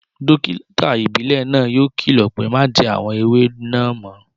Dókítà ìbílẹ̀ náà yóò kìlọ̀ pé Má jẹ àwọn ewé náà mọ́